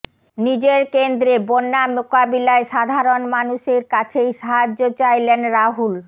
নিজের কেন্দ্রে বন্যা মোকাবিলায় সাধারণ মানুষের কাছেই সাহায্য চাইলেন রাহুল